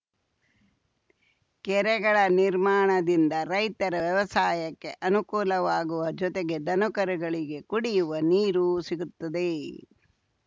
ಕೆರೆಗಳ ನಿರ್ಮಾಣದಿಂದ ರೈತರ ವ್ಯವಸಾಯಕ್ಕೆ ಅನುಕೂಲವಾಗುವ ಜೊತೆಗೆ ದನಕರುಗಳಿಗೆ ಕುಡಿಯುವ ನೀರೂ ಸಿಗುತ್ತದೆ